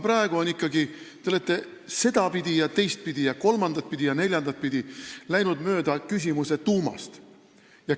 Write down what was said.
Te olete seda ja teist ja kolmandat ja neljandat pidi läinud mööda küsimuse tuumast.